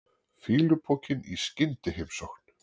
Fýlupokinn í skyndiheimsókn.